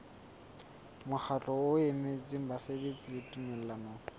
mokgatlo o emetseng basebeletsi tumellanong